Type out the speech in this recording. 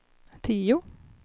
tio